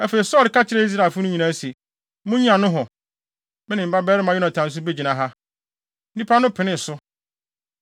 Afei, Saulo ka kyerɛɛ Israelfo no nyinaa se, “Munnyina nohɔ; me ne me babarima Yonatan nso begyina ha.” Nnipa no penee so.